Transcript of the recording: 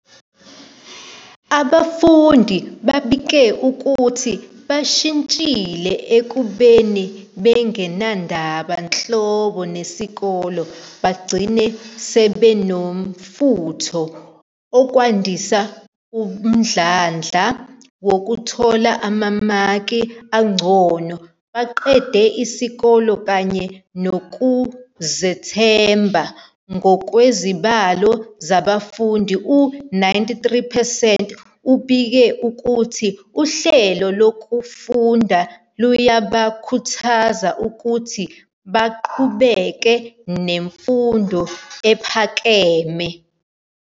Abafundi babike ukuthi bashintshile ekubeni bengenandaba nhlobo nesikole bagcina sebenomfutho, okwandisa umdlandla wokuthola amamaki angcono, baqede isikole kanye nokuzethemba. Ngokwezibalo zabafundi, u-93 percent ubike ukuthi uhlelo lokufunda luyabakhuthaza ukuthi baqhubeke nemfundo ephakeme.